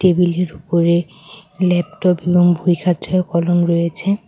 টেবিলের উপরে ল্যাপটপ এবং কলম রয়েছে।